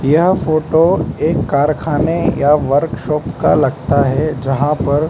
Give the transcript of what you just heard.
यह फोटो एक कारखाने या वर्कशॉप का लगता है जहां पर --